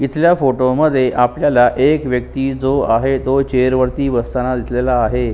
इथल्या फोटो मध्ये आपल्याला एक व्यक्ति जो आहे तो चेअर वरती बस्तान दिसलेला आहे.